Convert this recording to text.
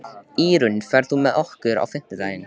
Írunn, ferð þú með okkur á fimmtudaginn?